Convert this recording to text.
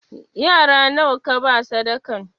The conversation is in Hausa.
Yara nawa kaba sadakan?